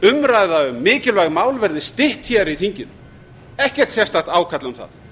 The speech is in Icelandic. umræða um mikilvæg mál verði stytt hér í þinginu ekkert sérstakt ákall um það